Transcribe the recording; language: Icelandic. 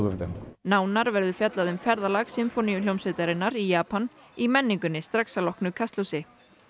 nánar verður fjallað um ferðalag Sinfóníuhljómsveitarinnar í Japan í menningunni strax að loknu Kastljósi